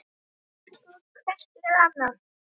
Verið góð hvert við annað